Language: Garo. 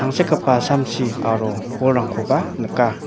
tangsekgipa samsi aro bolrangkoba nika.